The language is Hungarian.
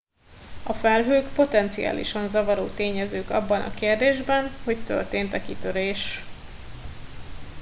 a felhők potenciális zavaró tényezők abban a kérdésben hogy történt e kitörés